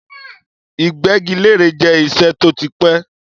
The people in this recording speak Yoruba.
Ìgbẹ́gilére jẹ́ iṣẹ́ tó ti pẹ́.